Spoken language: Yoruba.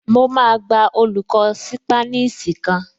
Mo máa gba olùkọ́ ṣípánísì kan